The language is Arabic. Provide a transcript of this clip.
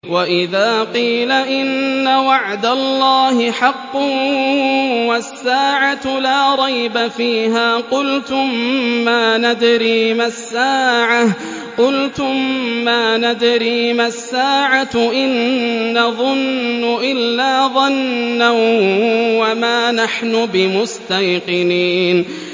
وَإِذَا قِيلَ إِنَّ وَعْدَ اللَّهِ حَقٌّ وَالسَّاعَةُ لَا رَيْبَ فِيهَا قُلْتُم مَّا نَدْرِي مَا السَّاعَةُ إِن نَّظُنُّ إِلَّا ظَنًّا وَمَا نَحْنُ بِمُسْتَيْقِنِينَ